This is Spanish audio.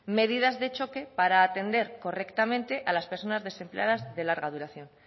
medidas de choque para atender correctamente a las personas desempleadas de larga duración